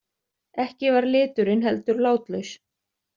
Ekki var liturinn heldur látlaus.